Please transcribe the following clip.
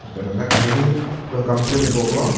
lapen ke ladak banghini tum kam klem ik bom lo.